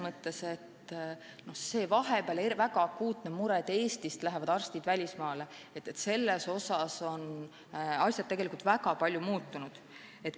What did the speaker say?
Ja mis puutub vahepeal väga akuutsesse muresse, et Eestist lähevad arstid välismaale, siis selles osas on asjad tegelikult väga palju muutunud.